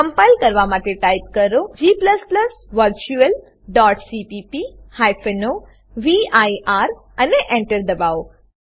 compile કરવા માટે type કરો g virtualસીપીપી o વીર અને Enter દબાવો